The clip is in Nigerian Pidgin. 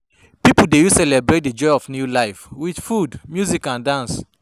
Pipo dey use celebrate di joy of new life with food, music and dance.